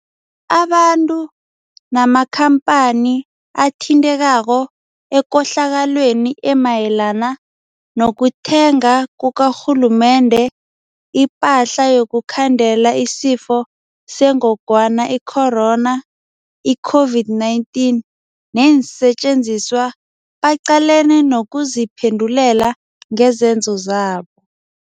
Abantu namakhampani athintekako ekohlakalweni emayelana nokuthenga kukarhulumende ipahla yokukhandela isiFo seNgogwana i-Corona, i-COVID-19, neensetjenziswa baqalene nokuziphendulela ngezenzo zabo.